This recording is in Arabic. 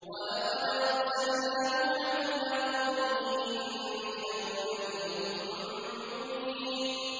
وَلَقَدْ أَرْسَلْنَا نُوحًا إِلَىٰ قَوْمِهِ إِنِّي لَكُمْ نَذِيرٌ مُّبِينٌ